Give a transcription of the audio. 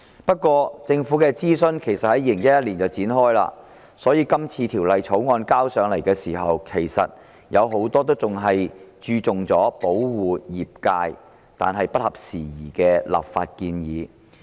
不過，政府的諮詢在2011年展開，所以今次提交立法會的《條例草案》，有很多立法建議只着重保護業界並已不合時宜。